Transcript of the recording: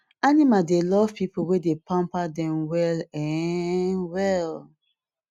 animal dey love people wey dey pamper dem well um well